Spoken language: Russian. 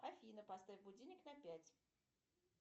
афина поставь будильник на пять